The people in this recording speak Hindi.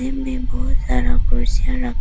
इनमें बहुत सारा कुर्सियां रखा--